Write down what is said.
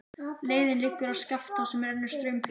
Leiðin liggur að Skaftá sem rennur straumhörð til sjávar.